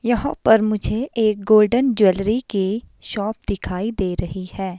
यहां पर मुझे एक गोल्डन ज्वेलरी की शॉप दिखाई दे रही है।